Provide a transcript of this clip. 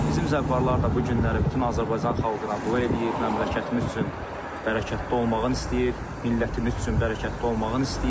Bizim zəvvarlar da bu günləri bütün Azərbaycan xalqına dua eləyir, məmləkətimiz üçün bərəkətdə olmağını istəyir, millətimiz üçün bərəkətli olmağını istəyir.